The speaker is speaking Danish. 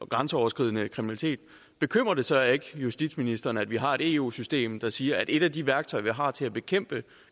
grænseoverskridende kriminalitet bekymrer det så ikke justitsministeren at vi har et eu system der siger at et af de værktøjer vi har til at bekæmpe